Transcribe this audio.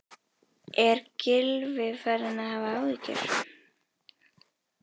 Er Gylfi farinn að hafa áhyggjur?